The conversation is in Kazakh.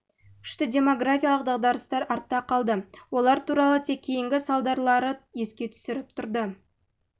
күшті демографиялық дағдарыстар артта қалды олар туралы тек кейінгі салдарлары еске түсіріп тұрды